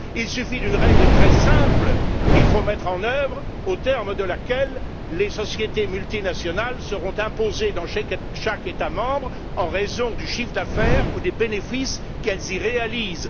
Il suffit d'une règle très simple qu'il faut mettre en œuvre, aux termes de laquelle les sociétés multinationales seront imposées dans chaque État membre en raison du chiffre d'affaires ou des bénéfices qu'elles y réalisent.